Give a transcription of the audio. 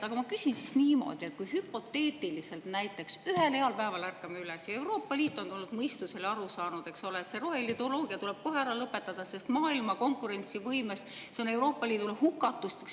Aga ma küsin siis niimoodi, et kui hüpoteetiliselt näiteks ühel heal päeval ärkame üles ja Euroopa Liit on tulnud mõistusele, aru saanud, eksole, et see roheideoloogia tuleb kohe ära lõpetada, sest maailma konkurentsivõimes see on Euroopa Liidule hukatusteks.